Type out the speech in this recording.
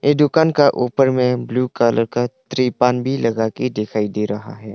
दुकान का ऊपर में ब्लू कलर का तिरपान भी लगाके दिखाई दे रहा है।